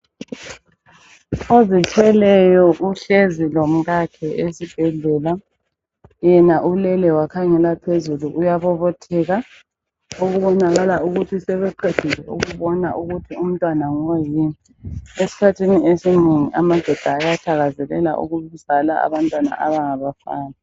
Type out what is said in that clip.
Ozithweleyo uhlezi lomkakhe esibhedlela. Yena ulele wakhangela phezulu, uyabobotheka okubonakala ukuthi sebeqedile ukubona ukuthi umntwana ngoyini. Esikhathini esinengi amadoda ayathakazelela ukuzala abantwana abangabafana.